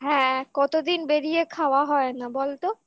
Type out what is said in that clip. হ্যাঁ কতদিন বেড়িয়ে খাওয়া হয় না বলতো